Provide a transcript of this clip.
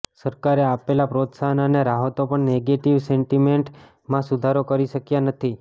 સરકારે આપેલાં પ્રોત્સાહન અને રાહતો પણ નેગેટિવ સેન્ટિમેન્ટમાં સુધારો કરી શક્યા નથી